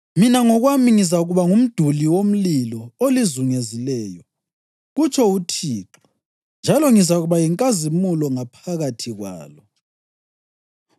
Mina ngokwami ngizakuba ngumduli womlilo olizungezileyo,’ kutsho uThixo, ‘njalo ngizakuba yinkazimulo ngaphakathi kwalo.’